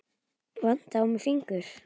Vantaði á mig fingur?